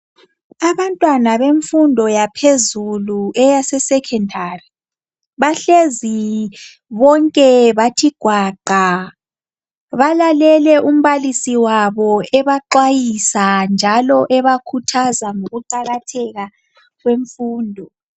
Abantwana bemfundo yaphezulu eyase Secondary bahlezi bonke bathi gwaqa, balalele umbalisi wabo ebaxwayisa njalo ebakhuthaza ngokuqakatheka kwemfundo.